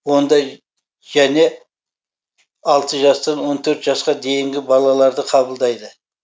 ондай және алты жастан он төрт жасқа дейінгі балаларды қабылдайды